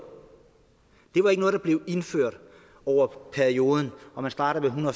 det var ikke noget der blev indført over perioden hvor man startede med